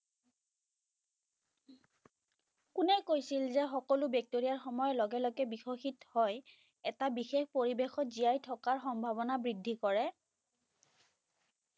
কোনে কৈছিল যে সকলো বেক্টেৰীয়া সময়ৰ লগে লগে বিকশিত হ'য় এটা বিশেষ পৰিৱেশত জীয়াই থকাৰ সম্ভাৱনা বৃদ্ধি কৰে